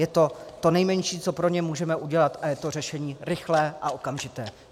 Je to to nejmenší, co pro ně můžeme udělat, a je to řešení rychlé a okamžité.